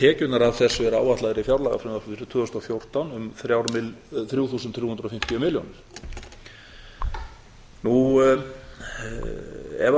tekjurnar af þessu eru áætlaðar í fjárlagafrumvarpinu tvö þúsund og fjórtán um þrjú þúsund þrjú hundruð og fimmtíu milljónir ef